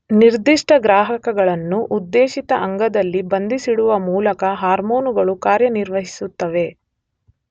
ನಿರ್ದಿಷ್ಟ ಗ್ರಾಹಕಗಳನ್ನು ಉದ್ದೇಶಿತ ಅಂಗದಲ್ಲಿ ಬಂಧಿಸಿಡುವ ಮೂಲಕ ಹಾರ್ಮೋನುಗಳು ಕಾರ್ಯನಿರ್ವಹಿಸುತ್ತವೆ.